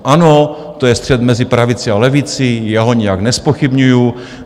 Ano, to je střet mezi pravici a levici, já ho nijak nezpochybňuju.